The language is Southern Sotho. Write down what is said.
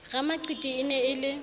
ramaqiti e ne e le